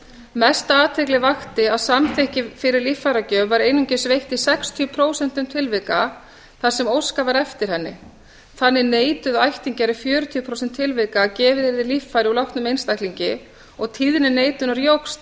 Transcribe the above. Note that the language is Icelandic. mesta athygli vakti að samþykki fyrir líffæragjöf var einungis veitt í sextíu prósent tilvika þar sem óskað var eftir henni þannig neituðu ættingjar í fjörutíu prósent tilvika að gefið yrði líffæri úr látnum einstaklingi og tíðni neitunar jókst